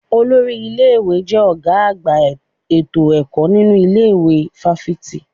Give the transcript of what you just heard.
Olórí ilé-ìwé jẹ́ ọ̀gá àgbà ètò ẹ̀kọ́ nínu ilé ìwé fáfitì.